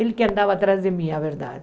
Ele que andava atrás de mim, na verdade.